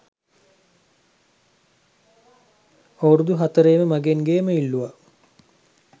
අවුරුදු හතරෙම මගෙන් ගේම ඉල්ලුවා